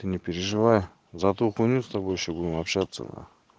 ты не переживай за та хуйню с тобой ещё будем общаться на